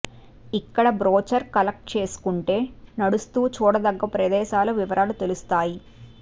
ఇక్కడ brochure collect చేసుకుంటే నడుస్తూ చూడదగ్గ ప్రదేశాల వివరాలు తెలుస్తాయి